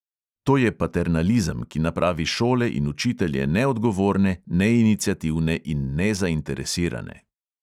To je paternalizem, ki napravi šole in učitelje neodgovorne, neiniciativne in nezainteresirane.